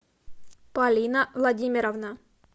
полина владимировна